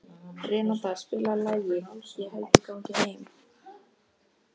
Renata, spilaðu lagið „Ég held ég gangi heim“.